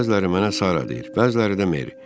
Bəziləri mənə Sara deyir, bəziləri də Meri.